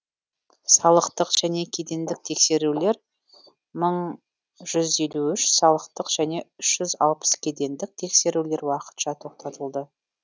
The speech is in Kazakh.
салықтық және кедендік тексерулер мың жүз елу үш салықтық және үш жүз алпыс кедендік тексерулер уақытша тоқтатылды